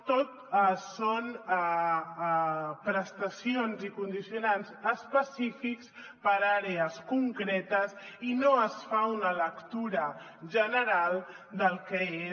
tot són prestacions i condicionants específics per àrees concretes i no es fa una lectura general del que és